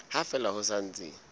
ha fela ho sa ntse